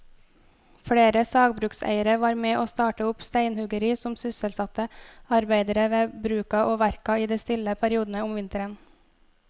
Flere sagbrukseiere var med å starte opp steinhuggeri som sysselsatte arbeidere ved bruka og verka i de stille periodene om vinteren.